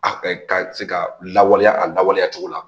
A ka se ka lawaleya a lawaleya cogo la